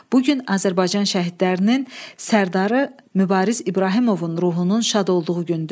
Bu gün Azərbaycan şəhidlərinin Sərdarı Mübariz İbrahimovun ruhunun şad olduğu gündür.